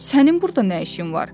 Sənin burda nə işin var?